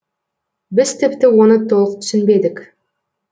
біз тіпті оны толық түсінбедік